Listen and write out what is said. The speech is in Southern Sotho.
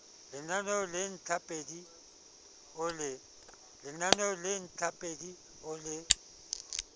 lemao le ntlhapedi o le